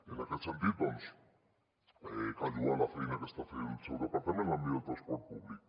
en aquest sentit doncs cal lloar la feina que està fent el seu departament en l’àmbit de transport públic